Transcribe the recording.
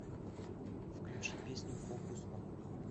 включи песню фокус он ми